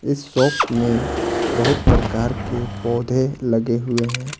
इस शॉप में बहुत प्रकार के पौधे लगे हुए हैं ।